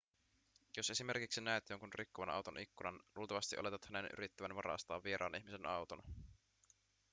jos esimerkiksi näet jonkun rikkovan auton ikkunan luultavasti oletat hänen yrittävän varastaa vieraan ihmisen auton